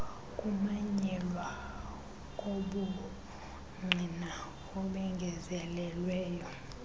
kumanyelwa kobungqina obengezelelweyo